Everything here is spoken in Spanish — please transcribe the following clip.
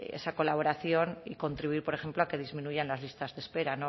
esa colaboración y contribuir por ejemplo a que disminuyan las listas de espera